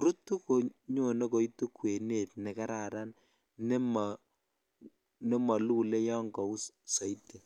rutu konyonrme koitu kwenetv ne kararan ne molule ya kaus soiti.